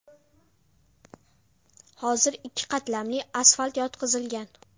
Hozir ikki qatlamli asfalt yotqizilgan.